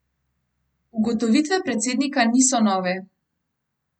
Ugotovitve predsednika niso nove.